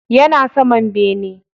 Yana saman bene.